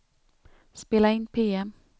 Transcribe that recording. spela in PM